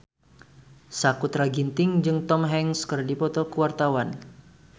Sakutra Ginting jeung Tom Hanks keur dipoto ku wartawan